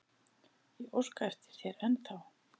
Ég óska eftir þér ennþá.